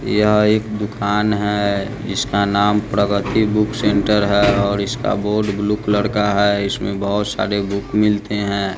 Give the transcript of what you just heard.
यह एक दुकान है इसका नाम प्रगति बुक सेंटर है और इसका बोड ब्लू कलर का है इसमें बहोत सारे बुक मिलते है।